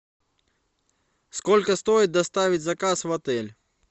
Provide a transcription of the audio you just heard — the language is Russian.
сколько стоит доставить заказ в отель